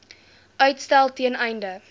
uitstel ten einde